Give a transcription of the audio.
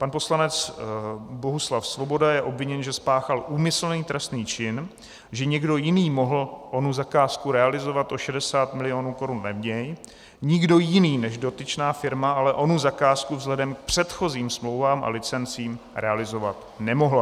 Pan poslanec Bohuslav Svoboda je obviněn, že spáchal úmyslný trestný čin, že někdo jiný mohl onu zakázku realizovat o 60 milionů korun levněji, nikdo jiný než dotyčná firma ale onu zakázku vzhledem k předchozím smlouvám a licencím realizovat nemohla.